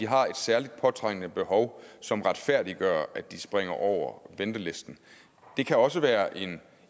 har et særligt påtrængende behov som retfærdiggør at de springer over ventelisten der kan også være en